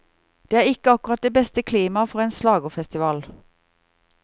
Det er ikke akkurat det beste klimaet for en slagerfestival.